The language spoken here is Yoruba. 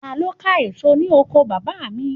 Ta ló ka èso ní oko bàbá mi